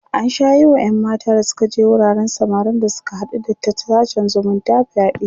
an Sha Yi Wa ƴan mata da Suka je wuraren samarin da Suka haɗu da ta sashen zumunta fyaɗe